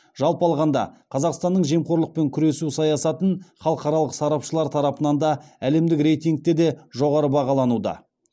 жалпы алғанда қазақстанның жемқорлықпен күресу саясатын халықаралық сарапшылар тарапынан да әлемдік рейтингте де жоғары бағалануда